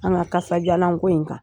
An ga kasajalan ko in kan.